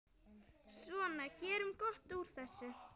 Svona, gerum gott úr þessu.